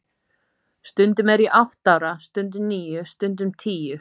Stundum er ég átta ára, stundum níu, stundum tíu.